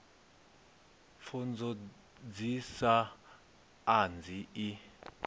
pfunzo dsi sa anzi i